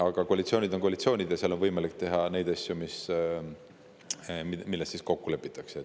Aga koalitsioonid on koalitsioonid, seal on võimalik teha vaid neid asju, milles on kokku lepitud.